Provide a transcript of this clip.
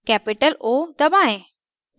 capital o दबाएं